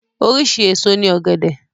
Oríṣi èso ní ògẹ̀dẹ̀